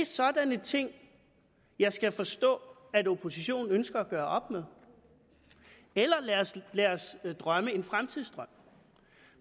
sådanne ting jeg skal forstå at oppositionen ønsker at gøre op med eller lad os drømme en fremtidsdrøm